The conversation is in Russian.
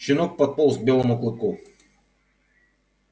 щенок подполз к белому клыку